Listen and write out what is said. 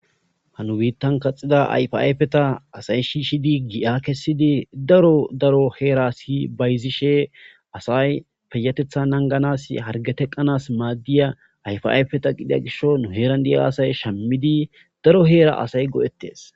hanu biittan kaxida ayfaayfeta asay shiishidi gi7a kessidi daro daro heera si bayzishe asay peyatetha nanganas hargeteqqanas maaddiya ayfayfeta qidiya gisho nu heeran di7a asay shammidi daro heera asay go7ettes